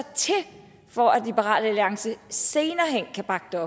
til for at liberal alliances senere hen kan bakke